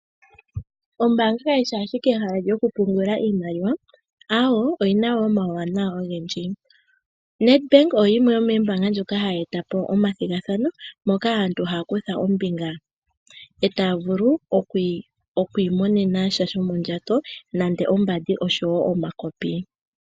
Ombaanga kayishi ashike ehala lyokupungula iimaliwa, aawo oyina omauwanawa ogendji. NedBank oyo yimwe yomoombaanga ndjoka hayi eta po omathigathano moka aantu haya kutha ombinga etaya vulu okwi imonena sha shomondjato nande ombandi oshowo omakopi.